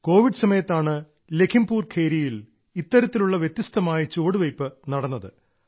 Covid സമയത്താണ് ലഘീംപുരിലെ ഖേരിയിൽ ഇത്തരത്തിലുള്ള വ്യത്യസ്തമായ ചുവടുവെപ്പ് നടന്നത്